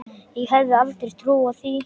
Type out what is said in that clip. Ég hefði aldrei trúað því.